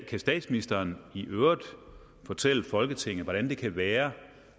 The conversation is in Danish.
kan statsministeren i øvrigt fortælle folketinget hvordan det kan være